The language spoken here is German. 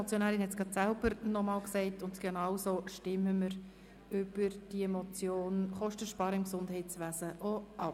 Die Motionärin hat es selber noch einmal gesagt, und genauso stimmen wir auch über die Motion «Kostensparen im Gesundheitswesen» ab.